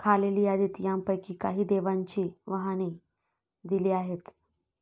खालील यादीत यांपैकी काही देवांची वाहने दिली आहेत.